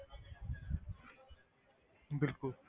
ਬਿਲਕੁਲ